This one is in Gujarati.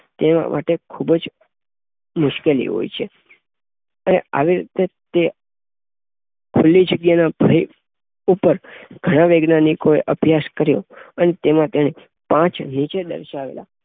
તેઓ માટે ખુબ જ મુશ્કેલી હોય છે. અને આવી રીતે તે ખુલ્લી જગ્યાના ભય ઉપર ધન વૈજ્ઞાનિકોએ અભ્યાસ કર્યો અને તેમાં તેને પાંચ નીચે દર્શાવેલા